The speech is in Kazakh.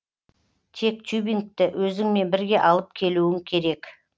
тек тюбингті өзіңмен бірге алып келуің керек